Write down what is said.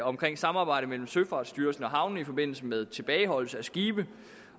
omkring samarbejdet mellem søfartsstyrelsen og havne i forbindelse med tilbageholdelse af skibe